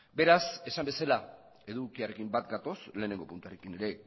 beraz esan bezala edukiarekin bat gatoz lehenengo puntuarekin ere